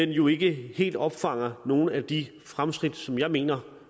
jo ikke helt opfanger nogle af de fremskridt som jeg mener